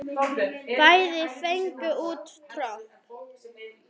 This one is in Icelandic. Bæði fengu út tromp.